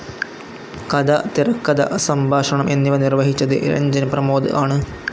കഥ, തിരക്കഥ, സംഭാഷണം എന്നിവ നിർവ്വഹിച്ചത് രഞ്ജൻ പ്രമോദ് ആണ്.